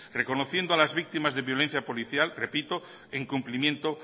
reconociendo a las víctimas de violencia policía repito en cumplimiento